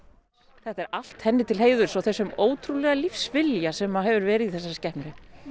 þetta er allt henni til heiðurs og þessum ótrúlega lífsvilja sem hefur verið í þessari skepnu